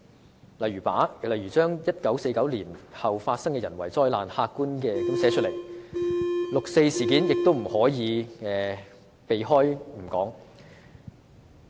舉例而言 ，1949 年後發生的人為災難應客觀地寫出來，六四事件亦不可避而不談。